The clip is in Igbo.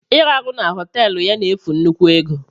Iraru na họteelu ya n'efu nnukwu ego.